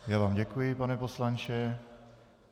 Já vám děkuji, pane poslanče.